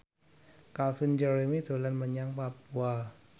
Calvin Jeremy dolan menyang Papua